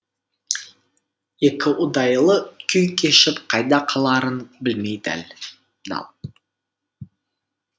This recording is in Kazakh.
екіұдайлы күй кешіп қайда қаларын білмей дал